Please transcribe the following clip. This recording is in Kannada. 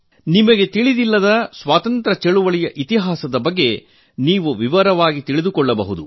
ನಿಮಗೆ ತಿಳಿದಿಲ್ಲದ ಸ್ವಾತಂತ್ರ್ಯ ಚಳವಳಿಯ ಇತಿಹಾಸದ ಬಗ್ಗೆ ನೀವು ವಿವರವಾಗಿ ತಿಳಿದುಕೊಳ್ಳಬಹುದು